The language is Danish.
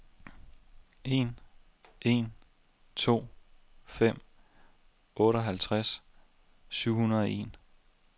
en en to fem otteoghalvtreds syv hundrede og en